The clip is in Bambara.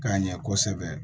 K'a ɲɛ kosɛbɛ